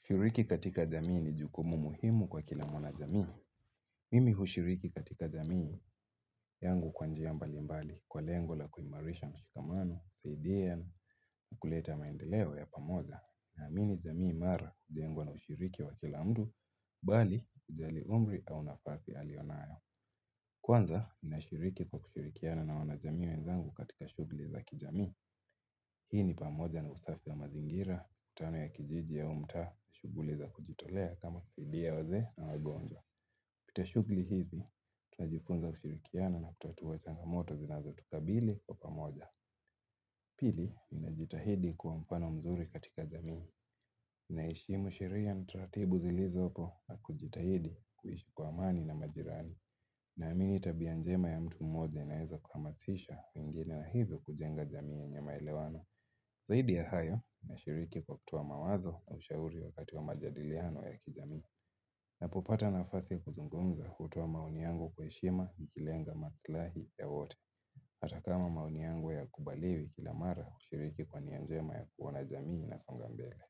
Kushiriki katika jamii ni jukumu muhimu kwa kila mwanajamii. Mimi hushiriki katika jamii yangu kwanjia mbali mbali kwa lengo la kuimaarisha mshikamano, kusaidia, kuleta maendeleo ya pamoja, na amini jamii mara hudengwa na hushiriki wa kila mdu, bali ujali umri au nafasi alionayo. Kwanza, inashiriki kwa kushirikiana na wana jamii wenzangu katika shuguli za kijamii. Hii ni pamoja na usafi ya mazingira, Tano ya kijiji au mtaa nashuguliza kujitolea kama kusaidia waze na wagonjwa pita shugli hizi, tunajifunza kushirikiana na kutatua changa moto zinazo tukabili kwa moja Pili, ninajitahidi kwa mpano mzuri katika jamii naheshimu sheria na taratibu zilizopo na kujitahidi kuhishi kwa amani na majirani na amini tabia njema ya mtu mmoja inaiza kuhamasisha wengine na hivyo kujenga jamii ya nyamaelewano Zaidi ya hayo na shiriki kwa kutoa mawazo ushauri wakati wa majadiliano ya kijamii Napopata nafasi kuzungumza hutoa maoni yangu kwa heshima ikilenga maslahi ya wote Atakama maoni yangu ya kubaliwi kila mara ushiriki kwa nianjema ya kuona jamii na songambele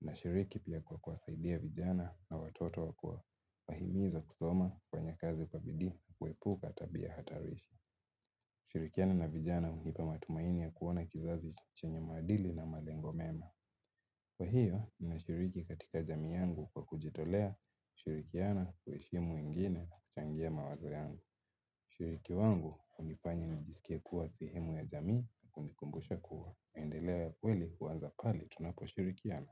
na shiriki pia kwa kuasaidia vijana na watoto jwa kuwahimizo kusoma kwenye kazi kwa bidi kuepuka tabia hatarishi kushirikiana na vijana unipa matumaini ya kuwana kizazi chenye maadili na malengo mema. Kwa hiyo, nina shiriki katika jami yangu kwa kujitolea shirikiana kuheshimu wengine na kuchangia mawazo yangu. Ushiriki wangu hunifanya nijisikia kuwa sehemu ya jaami na hunikumbusha kuwa. Mendeleo ya kweli uanza pali tunapo shirikiana.